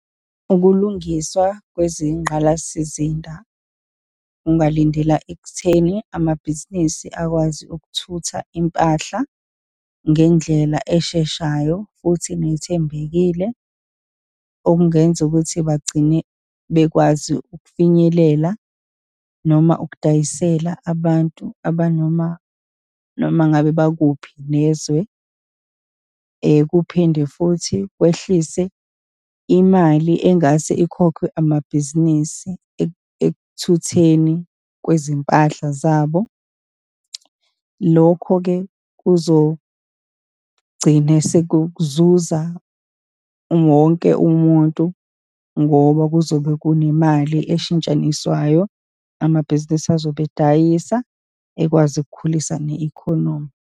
Ukulungiswa kwezingqalasizinda ungalindela ekutheni, amabhizinisi akwazi ukuthutha impahla ngendlela esheshayo futhi nethembekile, okungenza ukuthi bagcine bekwazi ukufinyelela, noma ukudayisela abantu aba noma, noma ngabe bakuphi nezwe. Kuphinde futhi kwehlise imali engase ikhokhwe amabhizinisi ekuthweni kwezimpahla zabo. Lokho-ke kuzogcine sekuzuza wonke umuntu, ngoba kuzobe kunemali eshintshaniswayo, amabhizinisi azobe edayisa, ekwazi ukukhulisa ne-economy.